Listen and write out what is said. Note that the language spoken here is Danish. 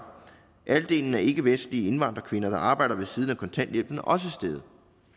halvdelen af ikkevestlige indvandrerkvinder der arbejder ved siden af kontanthjælpen er også steget